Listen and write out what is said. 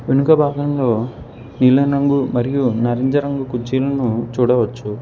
వెనుక భాగంలో నీలం రంగు మరియు నారింజరంగు కుర్చీలను చూడవచ్చు.